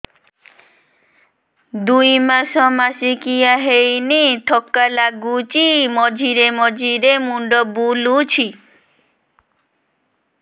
ଦୁଇ ମାସ ମାସିକିଆ ହେଇନି ଥକା ଲାଗୁଚି ମଝିରେ ମଝିରେ ମୁଣ୍ଡ ବୁଲୁଛି